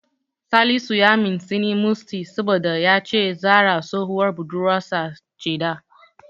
Salisu ya mintsini Musty saboda ya ce Zahra tsohuwar budurwarsa ce da.